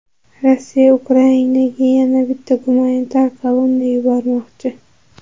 Rossiya Ukrainaga yana bitta gumanitar kolonna yubormoqchi.